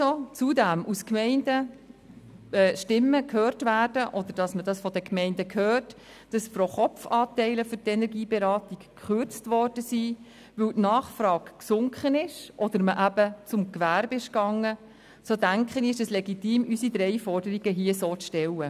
Wenn zudem Stimmen aus Gemeinden gehört werden, oder man von den Gemeinden hört, dass pro Kopf Anteile für die Energieberatung gekürzt worden sind, weil die Nachfrage gesunken ist, oder man zum Gewerbe gegangen ist, so denke ich, dass es legitim ist, unsere drei Forderungen hier so zu stellen.